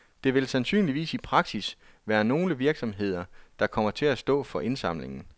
Det vil sandsynligvis i praksis være nogle virksomheder, der kommer til at stå for indsamlingen.